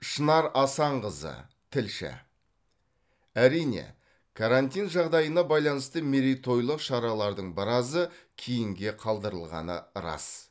шынар асанқызы тілші әрине карантин жағдайына байланысты мерейтойлық шаралардың біразы кейінге қалдырылғаны рас